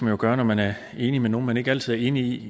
jo gøre når man er enig med nogen som man ikke altid er enig